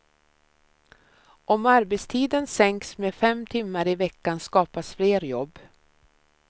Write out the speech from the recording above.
Om arbetstiden sänks med fem timmar i veckan skapas fler jobb.